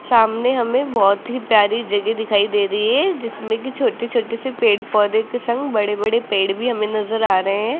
सामने हमें बहोत ही प्यारी जगह दिखाई दे रही है जिसमें की छोटे छोटे से पेड़ पौधे के संग बड़े बड़े पेड़ भी हमें नजर आ रहे हैं।